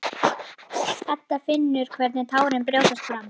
Edda finnur hvernig tárin brjótast fram.